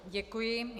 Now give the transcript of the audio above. Děkuji.